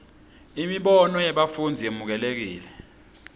imibono yebafundzi yemukelekile